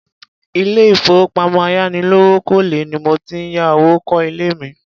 Ilé ìfowópamọ́ ayánilówókọ́lẹ́ ni mo ti ya owó kó ilé mi.